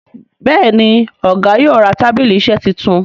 Béèni Ọgá yóò rà tábìlì iṣe títún.